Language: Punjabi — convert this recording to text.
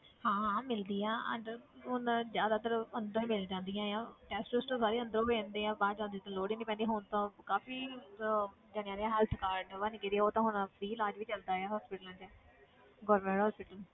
ਹਾਂ ਹਾਂ ਮਿਲਦੀ ਹੈ ਅੰਦਰ ਹੁਣ ਜ਼ਿਆਦਾਤਰ ਅੰਦਰ ਮਿਲ ਜਾਂਦੀਆਂ ਆਂ test ਟੁਸਟ ਸਾਰੇ ਅੰਦਰੋਂ ਹੋ ਜਾਂਦੇ ਆ ਬਾਹਰ ਜਾਣ ਦੀ ਤਾਂ ਲੋੜ ਹੀ ਨੀ ਪੈਂਦੀ, ਹੁਣ ਤਾਂ ਕਾਫ਼ੀ ਅਹ ਜਾਣਿਆਂ ਨੇ health card ਬਣ ਗਏ ਉਹ ਤਾਂ ਹੁਣ free ਇਲਾਜ਼ ਵੀ ਚਲਦਾ ਆ hospital 'ਚ government hospital